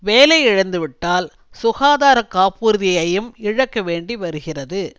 வேலையிழந்துவிட்டால் சுகாதார காப்புறுதியையும் இழக்க வேண்டி வருகிறது